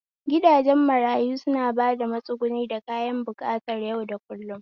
Gidajen marayu suna ba da matsuguni da kayan buƙatar yau da kullum